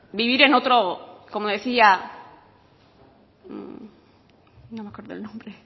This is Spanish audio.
vivir en otro como decía no me acuerdo del nombre